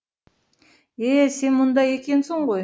е сен мұнда екенсің ғой